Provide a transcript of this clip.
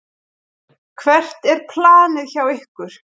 Hvert er planið hjá ykkur?